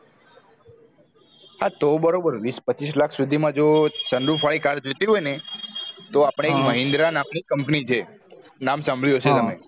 હા તો બરોબર વિશ પચીસ lakh સુધી માં જો sun roof વાળી car જોવ તી હોય ને તો આપડે એક mahindra નામ ની company છે નામસાંભળ્યું હશે તમ